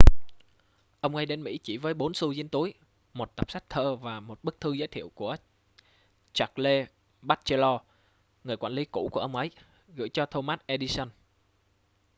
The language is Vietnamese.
"ông ấy đến mỹ chỉ với 4 xu dính túi một tập sách thơ và một bức thư giới thiệu của charles batchelor người quản lý cũ của ông ấy gửi cho thomas edison.